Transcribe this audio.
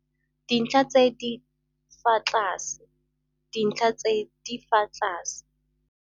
dintlha tse di fa tlase - dintlha tse di fa tlase